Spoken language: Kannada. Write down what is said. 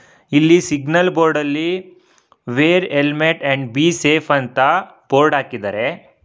ಇಲ್ಲಿ ಸಿಗ್ನಲ್ ಬೋರ್ಡ್ ಅಲ್ಲಿ wear helmet and be safe ಅಂತ ಬೋರ್ಡ್ ಹಾಕಿದಾರೆ.